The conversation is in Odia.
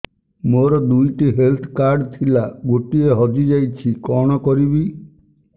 ମୋର ଦୁଇଟି ହେଲ୍ଥ କାର୍ଡ ଥିଲା ଗୋଟିଏ ହଜି ଯାଇଛି କଣ କରିବି